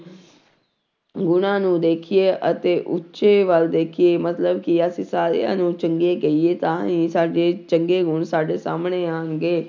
ਗੁਣਾਂ ਨੂੰ ਦੇਖੀਏ ਅਤੇ ਉੱਚੇ ਵੱਲ ਦੇਖੀਏ ਮਤਲਬ ਕਿ ਅਸੀਂ ਸਾਰਿਆਂ ਨੂੰ ਚੰਗੇ ਕਹੀਏ ਤਾਂ ਹੀ ਸਾਡੇ ਚੰਗੇ ਗੁਣ ਸਾਡੇ ਸਾਹਮਣੇ ਆਉਣਗੇ।